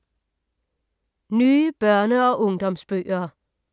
Nye børne- og ungdomsbøger